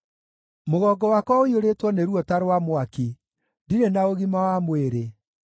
Mũgongo wakwa ũiyũrĩtwo nĩ ruo ta rwa mwaki; ndirĩ na ũgima wa mwĩrĩ.